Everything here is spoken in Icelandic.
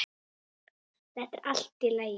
Þetta er allt í lagi.